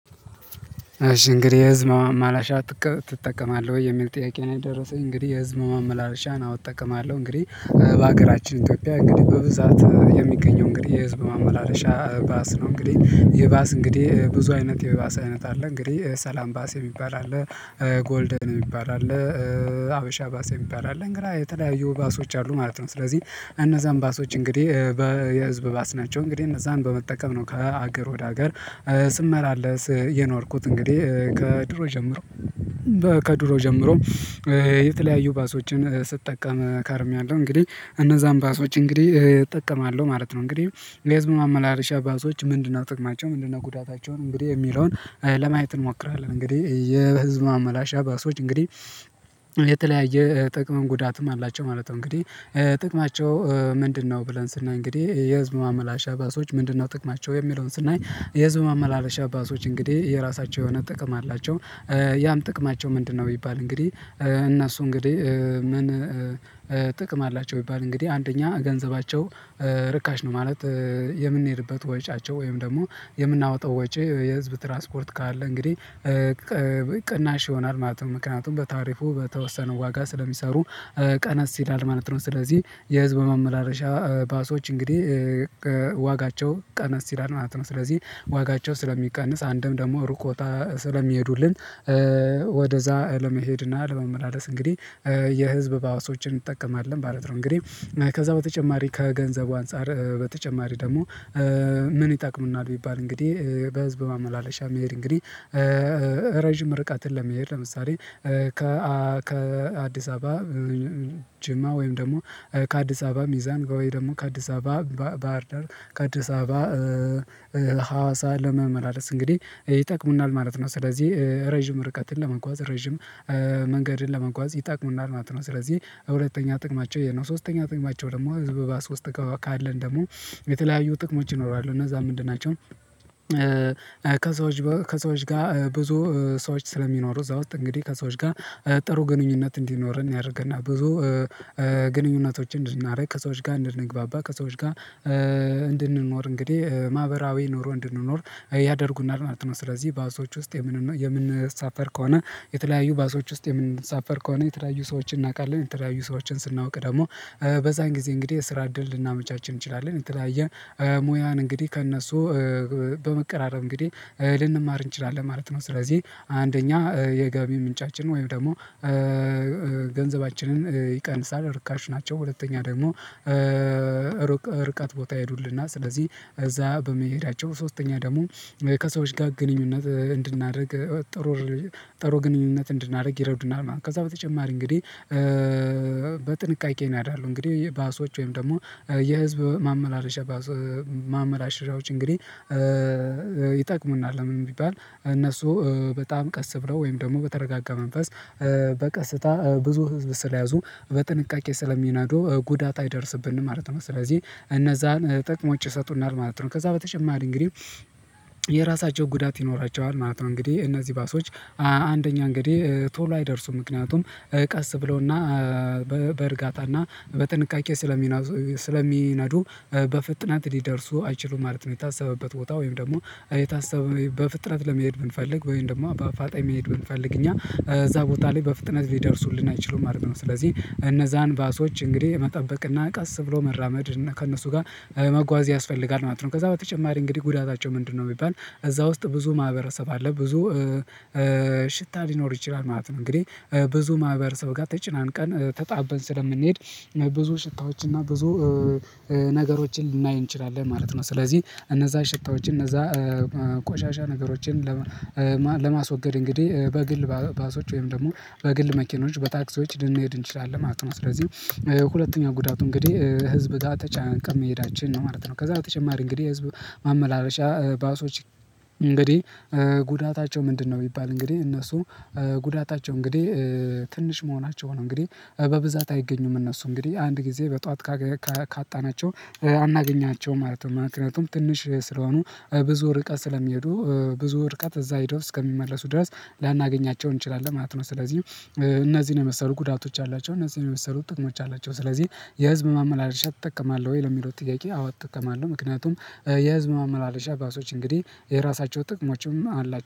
"እሺ እንግዲህ የህዝብ ማመላለሻ ትጠቀማለህ ወይ?" የሚል ጥያቄ ነው የደረሰኝ። እንግዲህ የህዝብ ማመላለሻን አዎ እጠቀማለሁ። እንግዲህ በሀገራችን ኢትዮጵያ እንግዲህ በብዛት የሚገኘው እንግዲህ የህዝብ ማመላለሻ ባስ ነው። እንግዲህ የባስ እንግዲህ ብዙ አይነት የባስ አይነት አለ። እንግዲህ ሰላም ባስ የሚባል አለ፣ ጎልደን የሚባል አለ፣ ሀበሻ ባሰ የሚባል አለ፣ እንግራ የተለያዩ ባሶች አሉ ማለት ነው። ስለዚህ እነዛን ባሶች እንግዲህ የህዝብ ባስ ናቸው እንግዲህ እነዛን በመጠቀም ነው ከሀገር ወደ ሀገር ስመላለስ የኖርኩት። እንግዲህ ከድሮ ጀምሮ ከድሮ ጀምሮ የተለያዩ ባሶችን ስጠቀም ከርሜያለሁ። እንግዲህ እነዛን ባሶች እንግዲህ እጠቀማለሁ ማለት ነው። እንግዲህ የህዝብ ማመላለሻ ባሶች ምንድነው ጥቅማቸው ምንድነው ጉዳታቸውን እንግዲህ የሚለውን ለማየት እንሞክራለን እንግዲህ የህዝብ ማመላሻ ባሶች እንግዲህ የተለያየ ጥቅምም ጉዳትም አላቸው ማለት ነው። እንግዲህ "ጥቅማቸው ምንድነው?" ብለን ስናይ እንግዲህ የህዝብ ማመላሻ ባሶች ምንድነው ጥቅማቸው የሚለውን ስናይ የህዝብ ማመላለሻ ባሶች እንግዲህ የራሳቸው የሆነ ጥቅም አላቸው። ያም ጥቅማቸው ምንድነው ቢባል እንግዲህ እነሱ እንግዲህ ምን ጥቅም አላቸው ቢባል እንግዲህ አንደኛ ገንዘባቸው ርካሽ ነው። ማለት የምንሄድበት ወጪያቸው ወይም ደግሞ የምናወጣው ወጪ የህዝብ ትራስፖርት ካለ እንግዲህ ቅናሽ ይሆናል ማለት ነው። ምክንያቱም በታሪፉ በተወሰነው ዋጋ ስለሚሰሩ ቀነስ ይላል ማለት ነው። ስለዚህ የህዝብ ማመላለሻ ባሶች እንግዲህ ዋጋቸው ቀነስ ይላል ማለት ነው። ስለዚህ ዋጋቸው ስለሚቀንስ አንድም ደግሞ ሩቅ ቦታ ስለሚሄዱልን ወደዛ ለመሄድና ለመመላለስ እንግዲህ የህዝብ ባሶችን እንጠቀማለን ማለት ነው። እንግዲህ ከዛ በተጨማሪ ከገንዘቡ አንፃር በተጨማሪ ደግሞ ምን ይጠቅሙናል ቢባል እንግዲህ በህዝብ ማመላለሻ መሄድ እንግዲህ ረጅም ርቀትን ለመሄድ ለምሳሌ ከ ከ አዲስ አበባ ጅማ፣ ወይም ደግሞ ከአዲስ አበባ ሚዛን፣ ወይ ደግሞ ከአዲስ አበባ ባህርዳር፣ ከአዲስ አበባ ሀዋሳ ለመመላለስ እንግዲህ ይጠቅሙናል ማለት ነው። ስለዚህ ረዥም ርቀትን ለመጓዝ ረዥም መንገድን ለመጓዝ ይጠቅሙናል ማለት ነው። ስለዚህ ሁለተኛ ጥቅማቸው ይሄ ነው። ሶስተኛ ጥቅማቸው ደግሞ ህዝብ ባስት ውስጥ ካለን ደግሞ የተለያዩ ጥቅሞች ይኖራሉ፤ እነዛ ምንድን ናቸው ከሰዎች ከሰዎች ጋር ብዙ ሰዎች ስለሚኖሩ እዛ ውስጥ እንግዲህ ከሰዎች ጋር ጥሩ ግንኙነት እንዲኖር ያደርገናል ብዙ ግንኙነቶችን እንድናደርግ ከሰዎች ጋር እንድንግባባ ከሰዎች ጋር እንድንኖር እንግዲህ ማህበራዊ ኖሮ እንድንኖር ያደርጉናል ማለት ነው። ስለዚህ ባሶች ውስጥ የምንኖ የምንሳፈር ከሆነ የተለያዩ ባሶች ውስጥ የምንሳፈር ከሆነ የተለያዩ ሰዎችን እናውቃለን። የተለያዩ ሰዎችን ስናውቅ ደግሞ በዛን ጊዜ እንግዲህ የስራ እድል ልናመቻች እንችላለን። የተለያየ ሙያን እንግዲህ ከእነሱ በመቀራረብ እንግዲህ ልንማር እንችላለን ማለት ነው። ስለዚህ አንደኛ የገቢ ምንጫችን ወይም ደግሞ ገንዘባችንን ይቀንሳል ርካሽ ናቸው። ሁለተኛ ደግሞ ርቀት ቦታ ይሄዱልናል ስለዚህ እዛ በመሄዳቸው። ሶስተኛ ደግሞ ከሰዎች ጋር ግንኙነት እንድናደርግ ጥሩ ጥሩ ግንኙነት እንድናደርግ ይረዱናል ማለት ነው። ከዛ በተጨማሪ እንግዲህ በጥንቃቄ ይነዳሉ እንግዲህ የባሶች ወይም ደግሞ የህዝብ ማመላለሻ ባስ ማመላለሻዎች እንግዲህ ይጠቅሙናል ለምን ቢባል እነሱ በጣም ቀስ ብለው ወይም ደግሞ በተረጋጋ መንፈስ በቀስታ ብዙ ህዝብ ስለያዙ በጥንቃቄ ስለሚነዶ ጉዳት አይደርስብንም ማለት ነው። ስለዚህ እነዛን ጥቅሞች ይሰጡናል ማለት ነው። ከዛ በተጨማሪ እንግዲህ የራሳቸው ጉዳት ይኖራቸዋል ማለት ነው። እንግዲህ እነዚህ ባሶች አንደኛ እንግዲህ ቶሎ አይደርሱም። ምክንያቱም ቀስ ብለውና በእርጋታና በጥንቃቄ ስለሚነዙ ስለሚናዱ በፍጥነት ሊደርሱ አይችሉም ማለት ነው የታሰበበት ቦታ ወይም ደግሞ የታሰበ በፍጥነት ለመሄድ ብንፈልግ ወይም ደግሞ በአፋጣኝ መሄድ ብንፈልግ እኛ እዛ ቦታ ላይ በፍጥነት ሊደርሱልን አይችሉም ማለት ነው። ስለዚህ እነዛን ባሶች እንግዲህ መጠበቅና ቀስ ብሎ መራመድ ከእነሱ ጋር መጓዝ ያስፈልጋል ማለት ነው። ከዛ በተጨማሪ እንግዲህ ጉዳታቸው ምንድነው ቢባል እዛ ውስጥ ብዙ ማህበረሰብ አለ። ብዙ ሽታ ሊኖር ይችላል ማለት ነው። እንግዲህ ብዙ ማህበረሰብ ጋር ተጨናንቀን ተጣበን ስለምንሄድ ብዙ ሽታዎች እና ብዙ ነገሮችን ልናይ እንችላለን ማለት ነው። ስለዚህ እነዛ ሽታዎችን እነዛ ቆሻሻ ነገሮችን ለማስወገድ እንግዲህ በግል ባሶች ወይም ደግሞ በግል መኪኖች በታክሲዎች ልንሄድ እንችላለን ማለት ነው። ስለዚህ ሁለተኛ ጉዳቱ እንግዲህ ህዝብ ጋር ተጨናንቀን መሄዳችን ነው ማለት ነው። ከዛ በተጨማሪ እንግዲህ የህዝብ ማመላለሻ ባሶች እንግዲህ ጉዳታቸው ምንድነው ቢባል እንግዲህ እነሱ ጉዳታቸው እንግዲህ ትንሽ መሆናቸው ነው። እንግዲህ በብዛት አይገኙም እነሱ እንግዲህ አንድ ጊዜ በጧት ካገ ካ ካጣናቸው አናገኛቸውም ማለት ነው። ምክንያቱም ትንሽ ስለሆኑ ብዙ ርቀት ስለሚሄዱ ብዙ ርቀት እዛ ሄደው እስከሚመለሱ ድረስ ላናገኛቸው እንችላለን ማለት ነው። ስለዚህ እነዚህን የመሰሉ ጉዳቶች አላቸው፤ እነዚህን የመሰሉ ጥቅሞች አላቸው። ስለዚህ "የህዝብ ማመላለሻ ትጠቀማለሁ ወይ?" ለሚለው ጥያቄ አዎ እጠቀማለሁ። ምክንያቱም የህዝብ ማመላለሻ ባሶች እንግዲህ የራሳቸው ጥቅሞችም አላ